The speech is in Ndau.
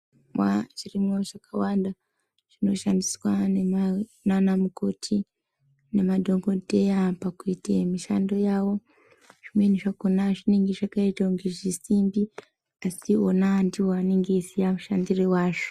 Zvidziyo zvirimwo zvakawanda zvinoshandiswa ndaanamukoti nemadhokodheya pakuite mishando yawo. Zvimweni zvakhona zvinenge zvakaita unga zvisimbi asi ona ndiwo anenge eiziya mushandiro wazvo.